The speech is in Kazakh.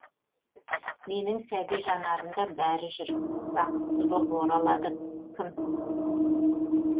менің сәби жанарымда бәрі жүр бақытсыз боп оралады кім